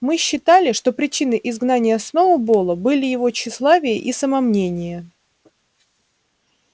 мы считали что причиной изгнания сноуболла были его тщеславие и самомнение